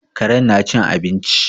Karen na cin abinci